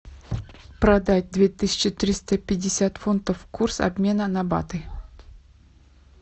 продать две тысячи триста пятьдесят фунтов курс обмена на баты